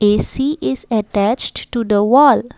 we see is attached to the wall.